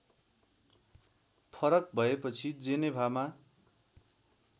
फरक भएपछि जेनेभामा